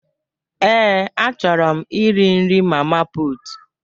Ee, a chọrọ m iri nri mama putu.